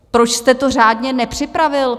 Proč jste to řádně nepřipravil?